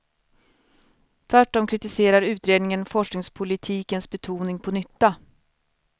Tvärtom kritiserar utredningen forskningspolitikens betoning på nytta.